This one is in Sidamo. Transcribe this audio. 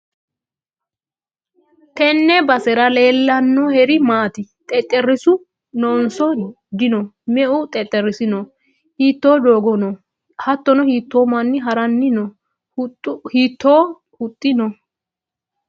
tenne basera leellannoheri maati? xexereessu noonso dino me'u xexxereessi no? hiitto doogo no? hattono hiitto manni ha'ranni no? hiitto huxxi no?